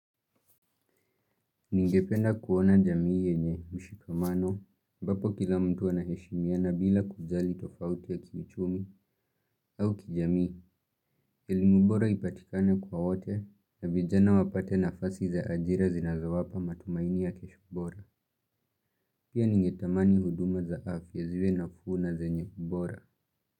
Ningependa kuona jamii yenye mshikamano, ambapo kila mtu anaheshimiana bila kujali tofauti ya kiuchumi au kijamii, elimu bora ipatikane kwa wote na vijana wapate nafasi za ajira zinazo wapa matumaini ya kesho bora. Pia ningetamani huduma za afya ziwe nafu na zenye ubora.